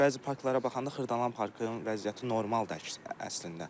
Bəzi parklara baxanda Xırdalan parkının vəziyyəti normaldır, əks əslində.